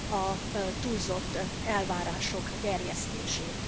a túlzott elvárások gerjesztését.